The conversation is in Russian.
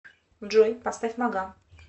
джой поставь мага